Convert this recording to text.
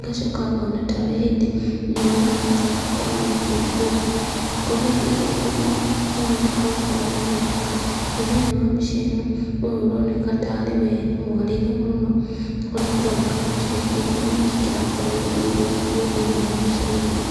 ngacoka ngona tarĩ hĩndĩ riua rĩarĩkia gũkorwo rĩgĩthũa, kũrĩa rĩrĩ gũthũa, nogũkorwo gũkoragwo gũgĩtuka na thĩiniĩ wa mbica ĩno, ũyũ ũroneka tarĩ weni mwarĩre mũno, kũrĩa kũroneka gũtirĩ kĩndũ ona kĩ kĩrakorwo gĩgĩthiĩra kuo thĩiniĩ wa mbica-inĩ ĩno.